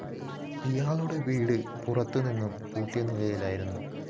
ഇയാളുടെ വീടു പുറത്തുനിന്ന പൂട്ടിയ നിലയിലായിരുന്നു